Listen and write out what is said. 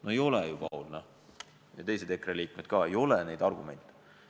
No ei ole ju, Paul ja teised EKRE liikmed ka, ei ole neid argumente!